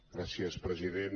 gràcies president